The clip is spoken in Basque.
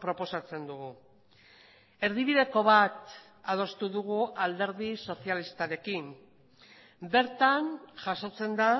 proposatzen dugu erdibideko bat adostu dugu alderdi sozialistarekin bertan jasotzen da